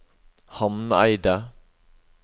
Hamneidet